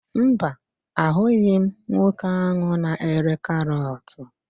Mba, ahụghị m nwoke ahụ na-ere karọt.